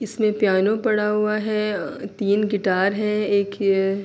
اسمے پیانو پڑا ہوا ہے۔ تین گٹار ہے۔ ایک یہ--